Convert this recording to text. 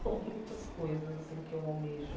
São muitas coisas assim que eu almejo.